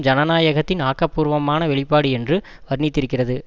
ஜனநாயகத்தின் ஆக்கபூர்வமான வெளிப்பாடு என்று வர்ணித்திருக்கிறது